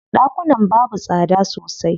Ɗakunan babu tsada sosai.